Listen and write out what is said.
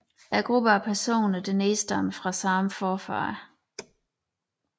Gruppe af personer der nedstammer fra samme forfader